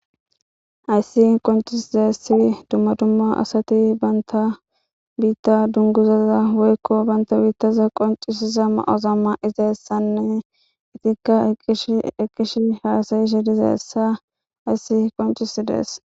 hayssi qoncisizassi dumma dumma asati banta biitta dunguzaza woykko banta biittaza qoncisiza ma7ozamma izaessanne itikka eqish eqqish haasayishe diza essa hayssi qoncisi dees